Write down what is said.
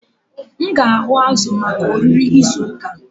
M ga-ahụ azụ̀ maka oriri izu ụka.